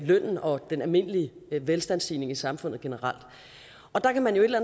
lønnen og den almindelige velstandsstigning i samfundet generelt der kan man et eller